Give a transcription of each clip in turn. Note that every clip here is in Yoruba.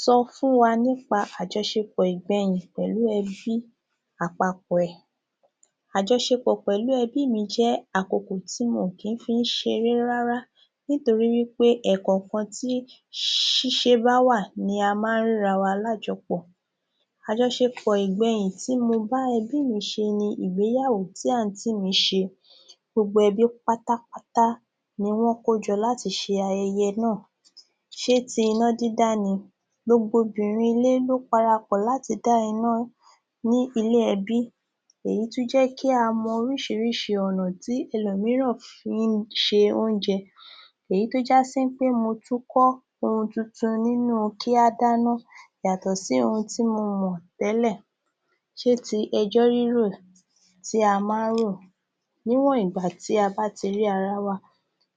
Sọ fún wa nípa àjọṣepọ̀ ìgbẹyin pẹ̀lú ẹbí àpapọ̀ ẹ̀. Àjọṣpeọ̀ pẹ̀lú ẹbí mi jẹ́ àkókò tí mi kì ń fi ṣeré rárá nítorí wí pé ẹ̀ẹ̀kọ̀ọ̀kan tí ṣíṣe bá wà ni a ma ń ríra wa lájọpọ̀. Àjọṣepọ̀ ìgbẹ̀yìn tí mo bá ẹbí mi sí ni ìgbéyàwó ti àǹtí mi ṣe. Gbogbo ẹbí pátápátá ni wọ́n kójọ láti ṣe ayẹyẹ náà. Ṣé ti iná dídá ni? Gbogbo obìnrin ilé ló para pọ̀ láti dá iná ní ilé ẹbí. Èyí tún jẹ́ kí a mọ oríṣiríṣi ọ̀nà tí ẹlòmíràn fi ń se oúnjẹ. Èyí tó já sí pé mo ti kọ́ ohun tuntun nínú u kí a dáná yàtọ̀ sí ohun tí mo mọ̀ tẹ́lẹ̀. Ṣé ti ẹjọ́ rírò tí a ma ń ro níwọ̀n ìgbà tí a bá ti rí ara wa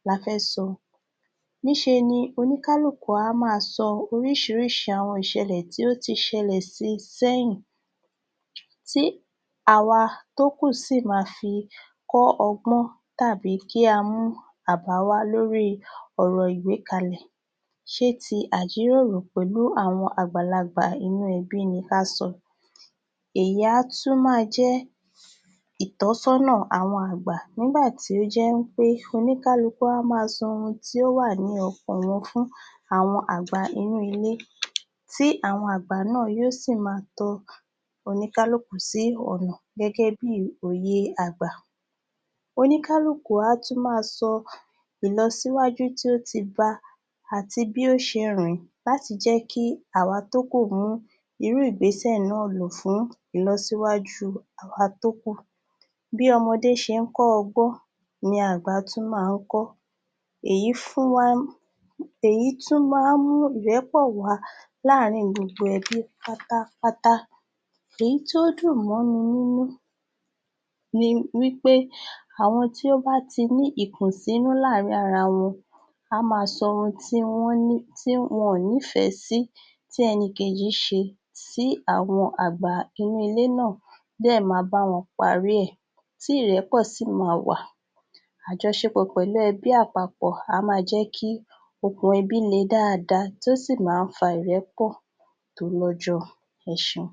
la fẹ́ sọ níṣe ni oníkálukú á máa sọ oríṣiríṣi àwọn ìṣẹ̀lè tí ó ti ṣẹlẹ̀ sí i sẹ́yìn. Tí àwa tó kù sì ma fi kọ́ ọgbọ́n tàí kí a mú àbá wá lórí i ọ̀rọ̀ ìgbékalẹ̀. Ṣé ti àjíròrò pẹ̀lú àwọn àgbàlagbà inú ẹbí ni ká sọ? Èyí tí a tún máa jẹ́ ìtọ́sọ́nà àwọn àgbà nígbà tí ó jẹ́ ń pé oníkálukú a máa sọ ohun tí ó wà ní ọkàn wọn fún àwọn àgbà inú ilé tí àwọn àgbà náà yóò sì máa tọ oníkálukú sí ọ̀nà gẹ́gẹ́ bí òye àgbà. Oníkálukú á tún máa sọ ìlọsíwájú tí ó ti bá àti bí ó ṣe rìn-ín láti jẹ́ kí àwa tó kùn mú irú ìgbésẹ̀ náà lò fún ìlọsíwájú àwa tó kù. Bí ọmọdé ṣe ń kọ́ àgbọn ni àgbà a tún máa kọ́. Èyí fún wa ní..èyí tún máa ń ìrẹ́pọ̀ wà láàrin gbogbo ẹbí pátápátá. Èyí tí ó dùn mọ́ mi nínú ni wí pé àwọn tí ó bá ti ní ìkùnsínú láàrin ara wọn a máa sọ ohun tí wọ́n ní tí wọ́n nífẹ́ sí tí ẹnìkejì ṣe sí àwọn àgbà inú ilé náà bẹ́ẹ̀ ma bá wọn parí ẹ̀ tí ìrẹ́pọ̀ sì ma wà. Àjọṣepọ̀ pẹ̀lú ẹbí àpapọ̀ a máa jẹ́ kí okùn ẹbí le dáada tí ó sì ma ń fa ìrẹ́pọ̀ tó lọ́jọ́. Ẹ ṣeun.